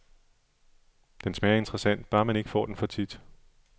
Den smager interessant, bare man ikke får den for tit.